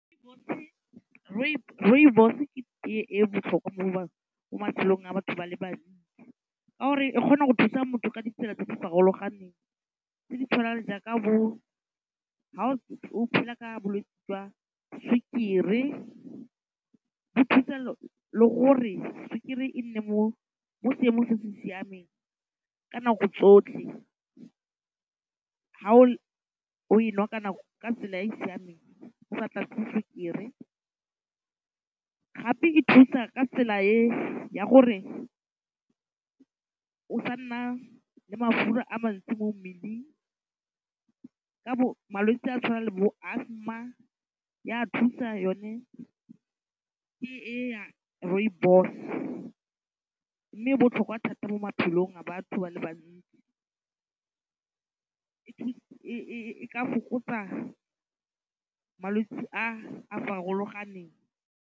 Rooibos ke tee e botlhokwa mo matshelong a batho ba le bantsi ka gore e kgona go thusa motho ka ditsela tse di farologaneng, tse di tshwanang le jaaka bo ha o phela ka bolwetsi jwa sukiri bo thusa le gore sukiri e nne mo seemong se se siameng ka nako tsotlhe ha o e nwa ka tsela e e siameng o sa tlatse sukiri, gape e thusa ka tsela e ya gore o sa nna le mafura a mantsi mo mmeleng ka malwetse a tshwana le bo asthma ya thusa yone tee e ya rooibos, mme e botlhokwa thata mo maphelong a batho ba le bantsi e ka fokotsa malwetse a a farologaneng.